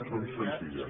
són senzilles